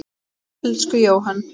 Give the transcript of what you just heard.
Elsku Jóhann.